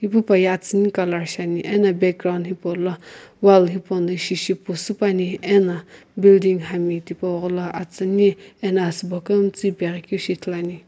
ipu paye atsuni colour shiani ena background hipaulo wall hipauno ishi shi pu sü puani ena building hami tipau ghola atsuni ena asübo kumtsu ipeghi keu shi ithuluani.